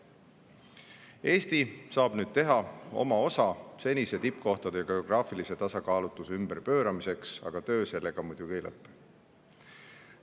Eesti saab nüüd teha oma osa tippkohtade senise geograafilise tasakaalutuse ümberpööramiseks, aga töö sellega muidugi ei lõppe.